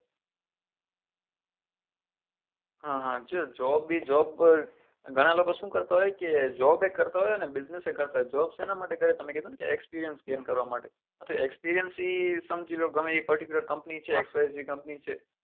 હા હા છે job બી job ગણા લોકો શું કરતા હોય કે job એ કરતા હોય ને business એ કરતા હોય job સેના માટે કરે તમે કેટ હતા ને experience scane કરવા માટે હતો experience એ સમજી લો કે ગમે તેવી particular company છે